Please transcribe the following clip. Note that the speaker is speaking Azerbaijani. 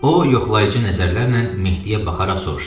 O yoxlayıcı nəzərlərlə Mehdiyə baxaraq soruşdu.